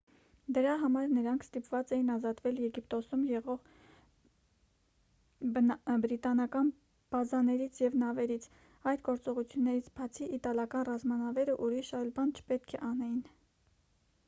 դրա համար նրանք ստիպված էին ազատվել եգիպտոսում եղող բրիտանական բազաներից և նավերից այդ գործողություններից բացի իտալական ռազմանավերը ուրիշ այլ բան չպետք է անեին